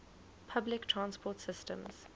public transport systems